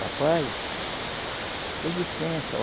Papai dê licença.